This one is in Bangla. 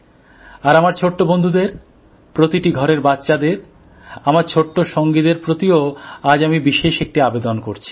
আর আমার ছোট্ট বন্ধুদের প্রতিটি ঘরের বাচ্চাদের আমার ছোট্ট সঙ্গীদের প্রতিও আজ আমি বিশেষ একটি আবেদন করছি